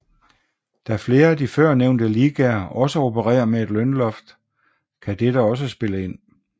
Da flere af de førnævnte ligaer også opererer med et lønloft kan dette også spille ind